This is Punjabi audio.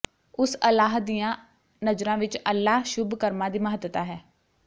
ਉਸ ਅਲਾਹ ਦੀਆਂ ਨਜ਼ਰਾਂ ਵਿੱਚ ਅੱਲਾਹ ਸ਼ੁਭ ਕਰਮਾਂ ਦੀ ਮਹੱਤਤਾ ਹੈ